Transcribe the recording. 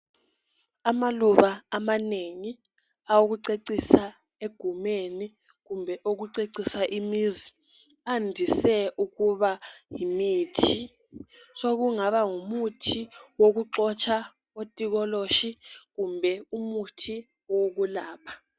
Amaluba amanengi okucecisa egumeni kumbe okucecisa imizi andise ukuba yimithi. Sokungaba ngumuthi wokuxotsha otikoloshi kumbe ngumuthi wokwelapha.